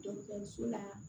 Dɔgɔtɔrɔso la